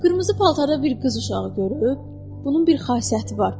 Qırmızı paltarda bir qız uşağı görüb, bunun bir xassiyyəti var.